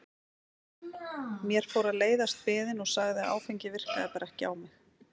Mér fór að leiðast biðin og sagði að áfengið virkaði bara ekki á mig.